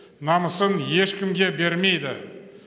намысын ешкімге бермейді